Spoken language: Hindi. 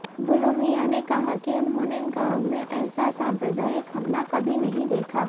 बुलु मियां ने कहा कि उन्होंने गांव में ऐसा सांप्रदायिक हमला कभी नहीं देखा